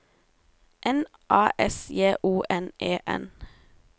N A S J O N E N